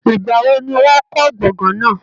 Ìgbà wo ni wọ́n kọ́ gbọ̀ngán náà?